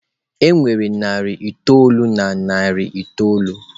E nwere narị itoolu na narị itoolu.